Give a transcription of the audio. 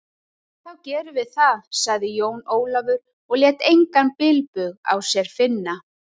Þá gerum við það, sagði Jón Ólafur og lét engan bilbug á sér finna.